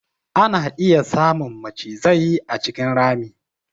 Ana iya samun macizai a cikin rami.